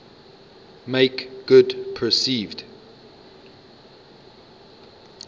make good perceived